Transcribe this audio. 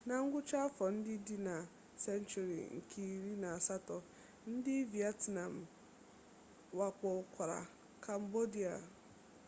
na ngwụcha afọ ndị dị na senchuri nke iri na asatọ ndị vietnam wakpokwara kambodia